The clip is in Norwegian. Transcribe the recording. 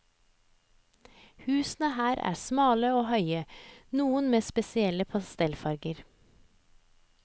Husene her er smale og høye, noen med spesielle pastellfarger.